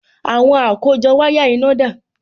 Àwọn àkójọ wáyà iná dà?